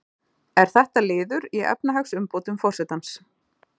Er þetta liður í efnahagsumbótum forsetans